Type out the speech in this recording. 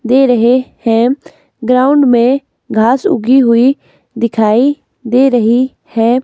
दे रहे हैं। ग्राउंड में घास उगी हुई दिखाई दे रही है।